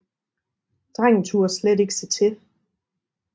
Drengen turde slet ikke se til